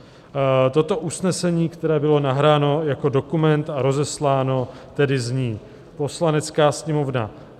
Toto usnesení, které bylo nahráno jako dokument a rozesláno, tedy zní: "Poslanecká sněmovna